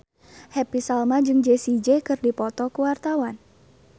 Happy Salma jeung Jessie J keur dipoto ku wartawan